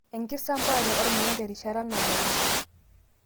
Enkisampuare ormuya terishata nabayie.